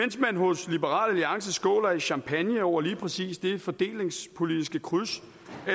man hos liberal alliance skåler i champagne over lige præcis det fordelingspolitiske kryds